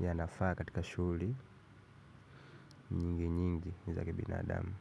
yanafaa katika shughli nyingi nyingi ni za kibinadamu.